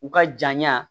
U ka janya